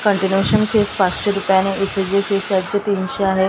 कन्टीन्यूशनचे fee पाचशे रुपयाने चे तीनशे आहे एक--